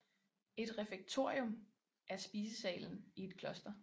Et refektorium er spisesalen i et kloster